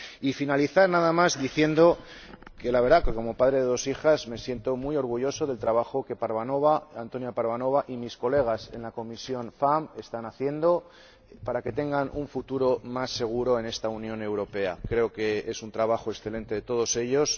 Y finalizar, nada más, diciendo que, la verdad, como padre de dos hijas, me siento muy orgulloso del trabajo que Antonia Parvanova y mis colegas de la Comisión FEMME están haciendo para que tengan un futuro más seguro en esta Unión Europea. Creo que es un trabajo excelente de todos ellos.